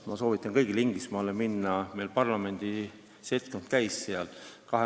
Ma soovitan kõigil Inglismaale minna, meie parlamendi seltskond käis seal.